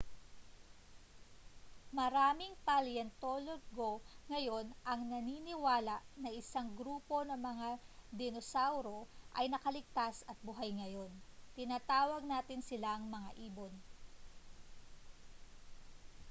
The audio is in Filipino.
maraming paleontologo ngayon ang naniniwala na isang grupo ng mga dinosauro ay nakaligtas at buhay ngayon tinatawag natin silang mga ibon